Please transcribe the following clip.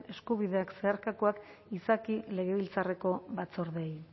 eskubideak zeharkakoak izaki legebiltzarreko batzordeei